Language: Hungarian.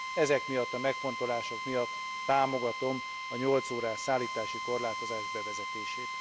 Ezek miatt a megfontolások miatt támogatom a 8 órás szállítási korlátozás bevezetését.